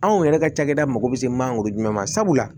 Anw yɛrɛ ka cakɛda mago bɛ se mangoro jumɛn ma sabula